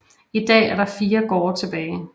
I dag er der fire gårde tilbage